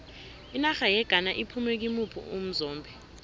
inarha yeghana iphume kimuphi umzombe